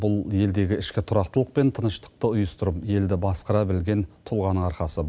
бұл елдегі ішкі тұрақтылық пен тыныштықты ұйыстырып елді басқара білген тұлғаның арқасы